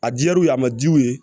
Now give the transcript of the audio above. A diyar'u ye a ma jigi u ye